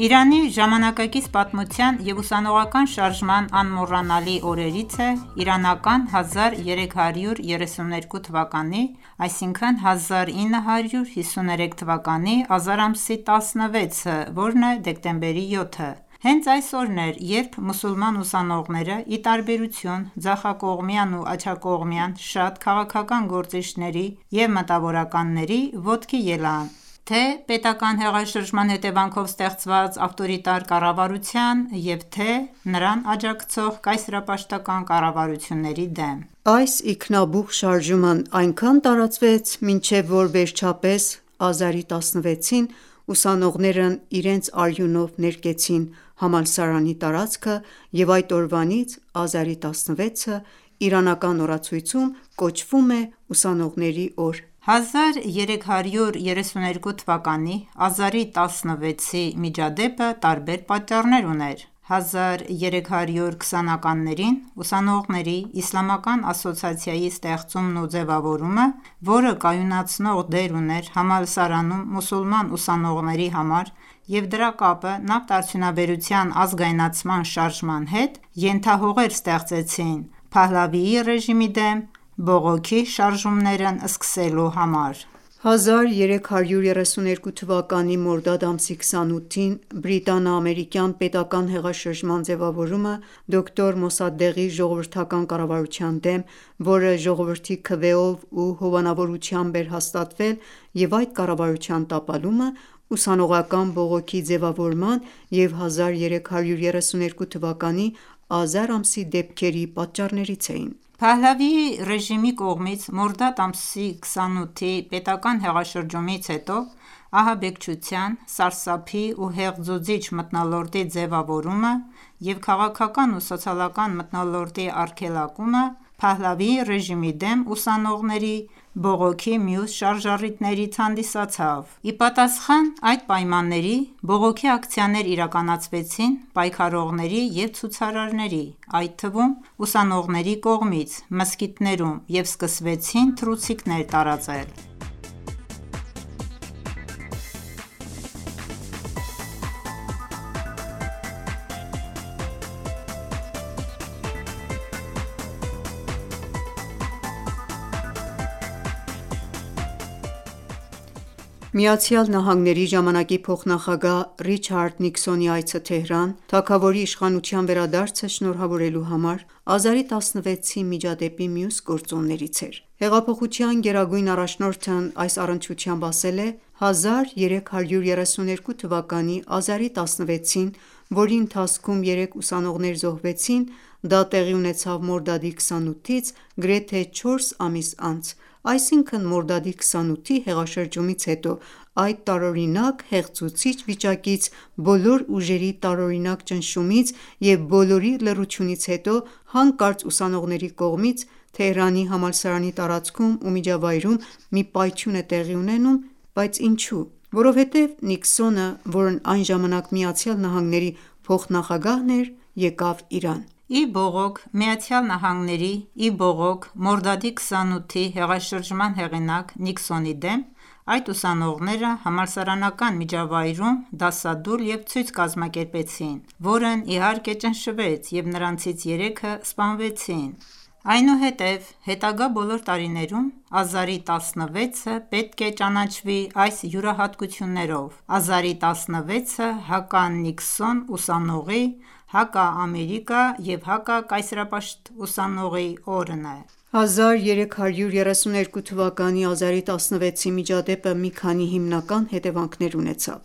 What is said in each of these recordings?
Իրանի ժամանակակից պատմության և ուսանողական շարժման անմոռանալի օրերից է իրանական 1332 թվականի(1953 թ․) ազար ամսի 16-ը (դեկտեմբերի 7)։ Հենց այս օրն էր, երբ մուսուլման ուսանողները, ի տարբերություն ձախակողմյան ու աջակողմյան շատ քաղաքական գործիչների և մտավորականների, ոտքի ելան թե՛պետական հեղաշրջման հետևանքով ստեղծված ավտորիտար կառավարության և թե՝նրան աջակցող կայսերապաշտական կառավարությունների դեմ։ Այս ինքնաբուխ շարժումն այնքան տարածվեց, մնչև որ վերջապես Ազարի 16-ին ուսանողներն իրենց արյունով ներկեցին համալսարանի տարածքը և այդ օրվանից Ազարի 16-ը իրանական օրացույցում կոչվում է «Ուսանողների օր»: 1332 թվականի ազարի 16-ի միջադեպը տարբեր պատճառներ ուներ: 1320-ականներին «Ուսանողների իսլամական ասոցիացիայի» ստեղծումն ու ձևավորումը, որը կայունացնող դեր ուներ համալսարանում մուսուլման ուսանողների համար, և դրա կապը նավթարդյունաբերության ազգայնացման շարժման հետ, ենթահողեր ստեղծեցին Փահլավի ռեժիմի դեմ բողոքի շարժումներն սկսելու համար: 1332 թվականի մորդադ ամսի 28-ին բրիտանա-ամերիկյան պետական ​​հեղաշրջման ձևավորումը ,դոկտոր Մոսադեղի ժողովրդական կառավարության դեմ ,որը ժողովրդի քվեով ու հովանավորությամբ էր հաստատվել և այդ կառավարության տապալումը ,ուսանողական բողոքի ձևավորման և 1332 թվականի Ազար ամսի դեպքերի պատճառներից էին: Փահլավիի ռեժիմի կողմից մորդադ ամսի 28-ի պետական ​​հեղաշրջումից հետո, ահաբեկչության, սարսափի ու հեղձուցիչ մթնոլորտի ձևավորումը և քաղաքական ու սոցիալական մթնոլորտի արգելակումը, Փահլավի ռեժիմի դեմ ուսանողների բողոքի մյուս շարժառիթներից հանդիսացավ: Ի պատասխան այդ պայմանների՝ բողոքի ակցիաներ իրականացվեցին պայքարողների և ցուցարարների, այդ թվում՝ ուսանողների կողմից մզկիթներում և սկսվեցին թռուցիկներ տարածել: ԱՄՆ-ի ժամանակի փոխնախագահ Ռիչարդ Նիկսոնի այցը Թեհրան, թագավորի իշխանության վերադարձը շնորհավորելու համար, Ազարի 16-ի միջադեպի մյուս գործոններից էր: Հեղափոխության գերագույն առաջնորդն այս առնչությամբ ասել է. «1332 թվականի ազարի16-ին, որի ընթացքում երեք ուսանողներ զոհվեցին ,դա տեղի ունեցավ մորդադի 28-ից գրեթե չորս ամիս անց, այսինքն՝ մորդադի 28-ի հեղաշրջումից հետո, այդ տարօրինակ հեղձուցիչ վիճակից ,բոլոր ուժերի տարօրինակ ճնշումից և բոլորի լռությունից հետո ,հանկարծ ուսանողների կողմից Թեհրանի համալսարանի տարածքում ու միջավայրում մի պայթյուն է տեղի ունենում ,իսկ ինչո՞ւ: Որովհետեւ Նիկսոնը, որն այն ժամանակ ԱՄՆ փոխնախագահն էր, եկավ Իրան։ Ի բողոք ԱՄՆ-ի, ի բողոք մորդարի 28-ի հեղաշրջման հեղինակ Նիկսոնի դեմ, այդ ուսանողները համալսարանական միջավայրում դասադուլ և ցույց կազմակերպեցին, որն իհարկե ճնշվեց և նրանցից երեքը սպանվեցին:Այնուհետ հետագա բոլոր տարիներում ազարի 16-ը ,պետք է ճանաչվի այս յուրահատկություններով: Ազարի 16-ը հականիկսոն ուսանողի ,հակաամերիկա և հակակայսերապաշտ ուսանողի օրն է»: 1332 թվականի ազարի 16-ի միջադեպը մի քանի հիմնական հետևանքներ ունեցավ: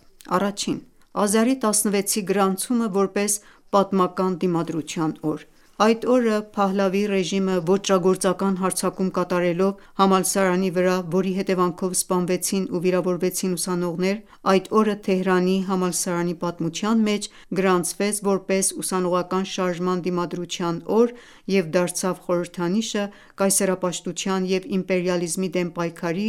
Ազարի 16-ի գրանցումը, որպես «Պատմական դիմադրության օր»: Այդ օրը ,Փահլավի ռեժիմը ոճրագործական հարձակում կատարելով համալսարանի վրա ,որի հետևանքով սպանվեցին ու վիրավորվեցին ուսանողները ,այդ օրը Թեհրանի համալսարանի պատմության մեջ գրանցվեց ,որպես ուսանողական շարժման դիմադրության օր և դարձավ խորհրդանիշը՝ կայսերապաշտության և իմպերիալիզմի դեմ պայքարի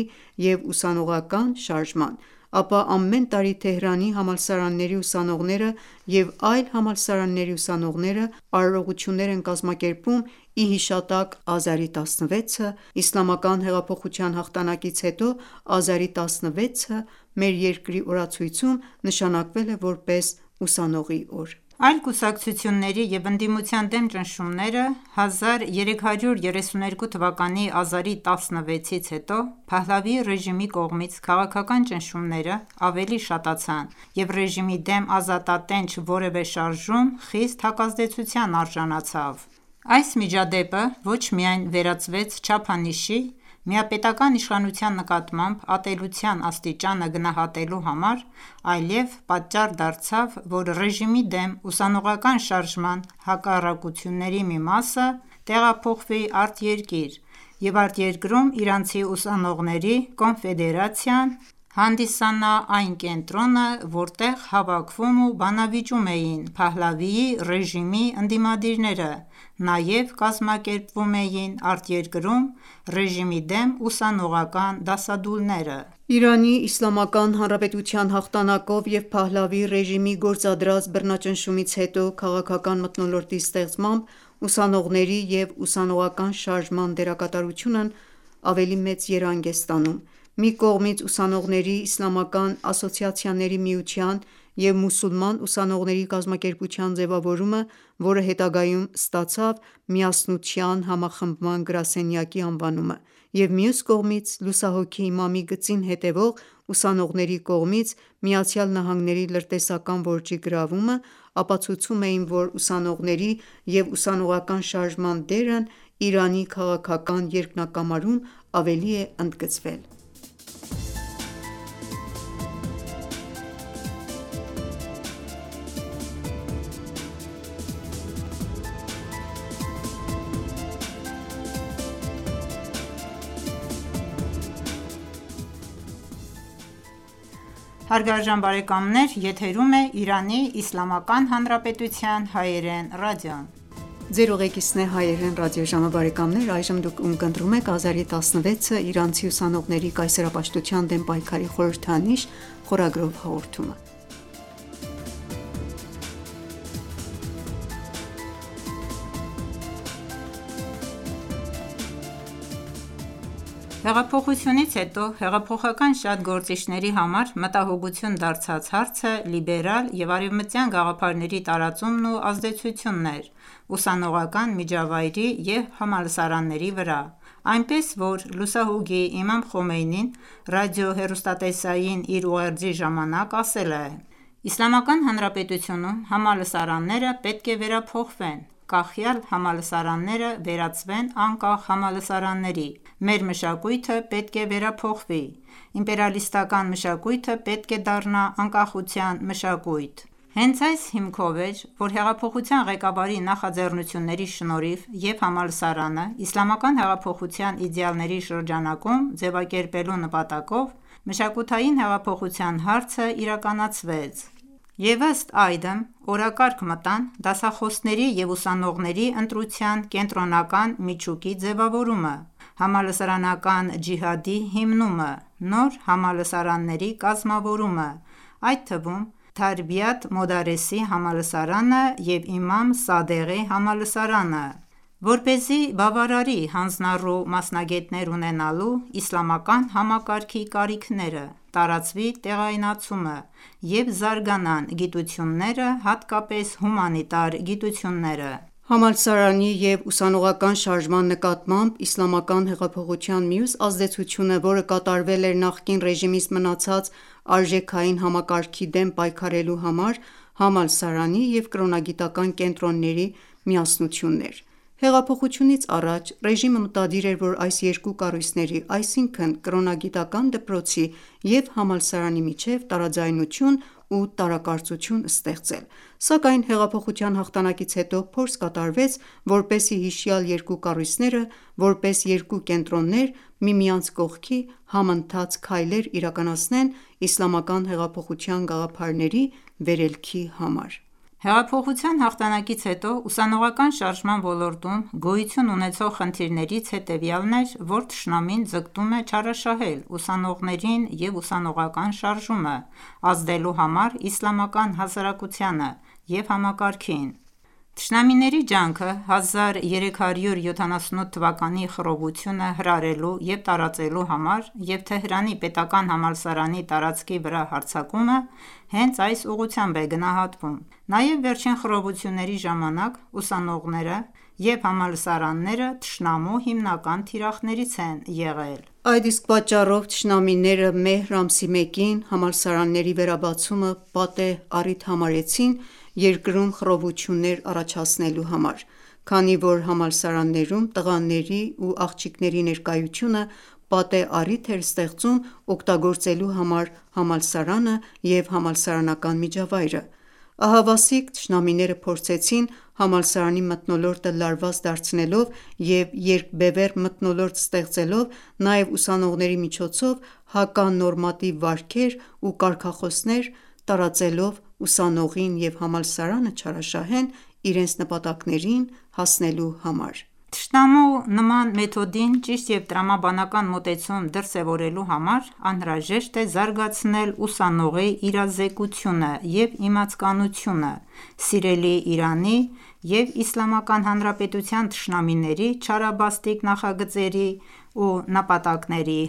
և ուսաողական շարժման: Ապա ամեն տարի Թեհրանի համալսարանների ուսանողները և այլ համալսարանների ուսանողները ,արարողություններ են կազմակերպում ի հիշատակ ազարի 16-ի նահատակների: Իսլամական հեղափոխության հաղթանակից հետո Ազարի 16-ը մեր երկրի օրացույցում նշանակվել է, որպես «Ուսանողի օր»։ Այլ կուսակցությունների և ընդդիմության դեմ ճնշումները:1332 թվականի ազարի 16-ից հետո ,Փահլավի ռեժիմի կողմից քաղաքական ճնումները ավելի շատացան և ռեժիմի դեմ ազատատենչ որևէ շարժում ,խիստ հակազդեցության արժանացավ: Այս միջադեպը ոչ միայն վերածվեց չափանիշի ,միապետական իշխանության նկատմամբ ատելության աստիճանը գնահատելու համար ,այլև պատճառ դարձավ ,որ ռեժիմի դեմ ուսանողական շարժման հակառակությունների մի մասը ,տեղափոխվի արտերկիր և արտերկրում իրանցի ուսանողների կոնֆեդերացիան, հանդիսանա այն կենտրոնը ,որտեղ հավաքվում ու բանվիճում էին Փահլավի ռեժիմի ընդիմադիրները նաև կազմակերպվում էին արտերկրում ռեժիմի դեմ ուսանողական դասադուլները: Իրանի Իսլամական հանրապետության հաղթանակով և Փահլավի ռեժիմի գործադրած բռնաճնշումից հետո քաղաքական մթնոլորտի ստեղծմամբ ,ուսանողների և ուսանողական շարժման դերակատարությունն ավելի երանգ է ստանում:Մի կողմից «Ուսանողների իսլամական ասոցիացիաների միության» և «Մուսուլման ուսանողների կազմակերպության» ձևավորումը, որը հետագայում ստացավ «Միասնության համախմբան գրասենյակի» անվանումը,և մյուս կողմից լուսահոգի Իմամի գծին հետեւող ուսանողների կողմից ԱՄՆ-ի լրտեսական որջի գրավումը, ապացուցում էին, որ ուսանողների և ուսանողական շարժման դերն Իրանի քաղաքական երկնակամարում ավելի է ընդգծվել։ Հեղափոխությունից հետո ,հեղափոխական շատ գործիչների համար մտահոգություն դարձած հարցը լիբերալ և արևմտյան գաղափարների տարածումն ու ազդեցությունն էր ուսանողական միջավայրի և համալսարանների վրա, այնպես ,որ լուսահոգի Իմամ Խոմեյնին ռադիո-հեռուստատեսային իր ուղերձի ժամանակ ասել է.« Իսլամական Հանրապետությունում համալսարանները պետք է վերափոխվեն, կախյալ համալսարանները վերածվեն անկախ համալսարանների: Մեր մշակույթը պետք է վերափոխվի, իմպերիսլիստական մշակույթը պետք է դառնա անկախության մշակույթ»։ (12/1/1358) Հենց այս հիմքով էր, որ հեղափոխության ղեկավարների նախաձեռնությունների շնորհիվ և համալսարանը Իսլամական հեղափոխության իդեալների շրջանակում ձևակերպելու նպատակով «Մշակութային հեղափոխության» հարցը իրականացվեց, և ըստ այդմ օրակարգ մտան՝ դասախոսների և ուսանողների ընտրության կենտրոնական միջուկի ձևավորումը, համալսարանական ջիհադի հիմնումը, նոր համալսարանների կազմավորումը, այդ թվում՝ Թարբիաթ Մոդարեսի համալսարանը և Իմամ Սադեղի համալսարանը ,որպեսզի բավարարի հանձնառու մասնագետներ ունենալու իսլամական համակարգի կարիքները, տարածվի տեղայնացումը և զարգանան գիտությունները, հատկապես հումանիտար գիտությունները: Համալսարանի և ուսանողական շարժման նկատմամբ Իսլամական հեղափոխության մյուս ազդեցությունը՝ որը կատարվել էր նախկին ռեժիմից մնացած արժեքային համակարգի դեմ պայքարելու համար«համալսարանի և կրոնագիտական կենտրոնի միասնությունն» էր:Հեղափոխությունից առաջ, ռեժիմը մտադիր էր, որ այս երկու կառույցների, այսինքն՝ կրոնագիտական դպրոցի և համալսարանի միջև տարաձայնություն ու տարակարծություն ստեղծել ,սակայն հեղափոխության հաղթանակից հետո ,փորձ կատարվեց ,որպեսզի հիշյալ երկու կառույցները ,որպես երկու կենտրոններ միմյանց կողքի ,համընթաց քայլեր իրականացնեն Իսլամական հեղափոխության գաղափարների վերլելքի համար: Հեղափոխության հաղթանակից հետո ուսանողական շարժման ոլորտում գոյություն ունեցող խնդիրներից հետևյալն էր ,որ թշնամին ձգտում է չարաշահել ուսանողներին և ուսանողական շարժումը, ազդելու համար իսլամական հաասարակությանը և համակարգին: Թշնամիների ջանքը 1378 թվականի խռովությունը հրահրելու և տարածելու համար և Թեհրանի պետական համալսարանի տարածքի վրա հարձակումը ,հենց այս ուղղությամբ է գնահատվում: Նաև վերջին խռովությունների ժամանակ ,ուսանողները և համալսարանները թշնամու հիմնական թիրախներից են եղել: Այս իսկ պատճառով ,թշնամիները մեհր ամսի մեկին համալսարանների վերաբացումը ,պատեհ առիթ համարեցին երկրում խռովություններ առաջացնելու համար, քանի որ համալսարաններում տղաների ու աղջիկների ներկայությունը ,պատեհ առիթ էր ստեղծում օգտագործելու համար համալսարանը և համալսարանական միջավայրը: Ահավասիկ թշնամիները փորձեցին համալսարանի մթնոլորտը լարված դարձնելով և երկբևեռ մթնոլորտ ստեղծելով ,նաև ուսանողների միջոցով հականորմատիվ վարքեր ու կարգախոսեր տարածելով ,ուսանողին և համալսարանը չարաշահեն իրենց նպատակներին հասնելու համար: Թշնամու նման մեթոդին ճիշտ և տրամաբանական մոտեցում դրսևորելու համար, անհրաժեշտ է զարգացնել ուսանողի իրազեկությունը և իմացականությունը սիրելի Իրանի և իսլամական հանրապետության թշնամիների չարաբաստիկ նախագծերի ու նպատակների